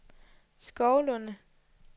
Skovlunde